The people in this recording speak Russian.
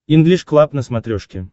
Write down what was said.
инглиш клаб на смотрешке